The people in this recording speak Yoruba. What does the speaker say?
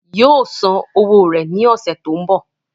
yóò san owó rẹ̀ ní ọ̀sẹ̀ tó ń bọ̀